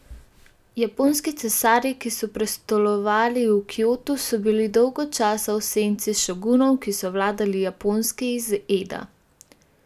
Japonski cesarji, ki so prestolovali v Kjotu, so bili dolgo časa v senci šogunov, ki so vladali Japonski iz Eda.